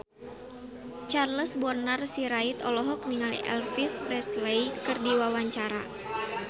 Charles Bonar Sirait olohok ningali Elvis Presley keur diwawancara